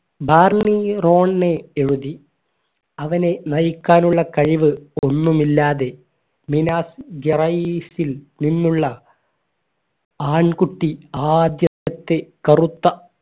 Barmy റോണി എഴുതി അവനെ നയിക്കാനുള്ള കഴിവ് ഒന്നുമില്ലാതെ മീനാസ് നിന്നുള്ള ആൺകുട്ടി ആദ്യത്തെ കറുത്ത